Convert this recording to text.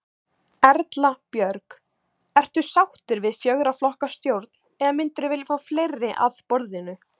Erla Björg: Ertu sáttur við fjögurra flokka stjórn eða myndirðu vilja fá fleiri að borðinu?